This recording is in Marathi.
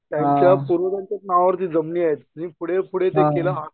त्यांच्या पूर्वजांच्याच नावावरती जमणी आहेंत तेनही पुढे पूढे व्यक्तीला